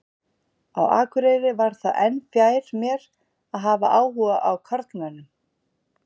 Á Akureyri varð það enn fjær mér að hafa áhuga á karlmönnum.